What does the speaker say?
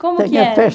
Como que é?